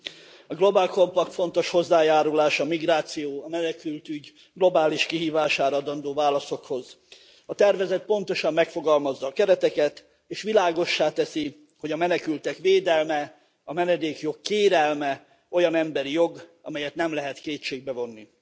Tisztelt Elnök úr! A Global Compact fontos hozzájárulás a migráció, a menekültügy globális kihívására adandó válaszokhoz. A tervezet pontosan megfogalmazza a kereteket, és világossá teszi, hogy a menekültek védelme, a menedékjog kérelme olyan emberi jog, amelyet nem lehet kétségbe vonni.